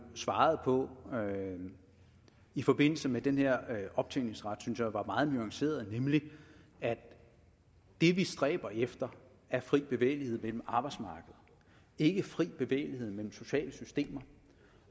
svaret på i forbindelse med den her optjeningsret var meget nuanceret nemlig at det vi stræber efter er fri bevægelighed mellem arbejdsmarkeder ikke fri bevægelighed mellem sociale systemer